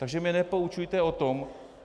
Takže mě nepoučujte o tom...